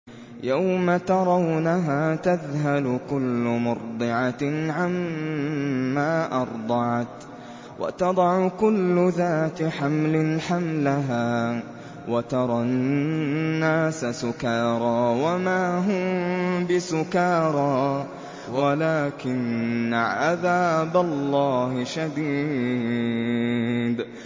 يَوْمَ تَرَوْنَهَا تَذْهَلُ كُلُّ مُرْضِعَةٍ عَمَّا أَرْضَعَتْ وَتَضَعُ كُلُّ ذَاتِ حَمْلٍ حَمْلَهَا وَتَرَى النَّاسَ سُكَارَىٰ وَمَا هُم بِسُكَارَىٰ وَلَٰكِنَّ عَذَابَ اللَّهِ شَدِيدٌ